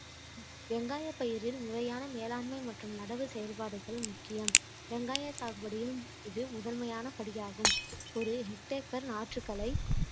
வெங்காய பயிரில் முறையான மேலாண்மை மற்றும் நடவு செயல்பாடுகள் முக்கியம் வெங்காய சாகுபடியில் இது முதன்மையான படியாகும் ஒரு hectare க்கு நாற்றுக்கலை